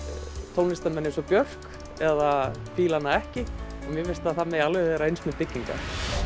tónlistarmenn eins og Björk eða fílar hana ekki mér finnst að það megi alveg vera eins með byggingar